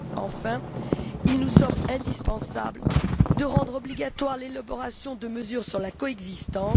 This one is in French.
Enfin, il nous semble indispensable de rendre obligatoire l'élaboration de mesures sur la coexistence.